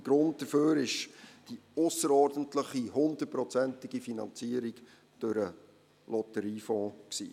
Der Grund dafür war die ausserordentliche, hundertprozentige Finanzierung durch den Lotteriefonds.